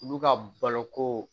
Olu ka balo ko